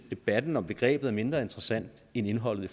debatten om begrebet er mindre interessant end indholdet i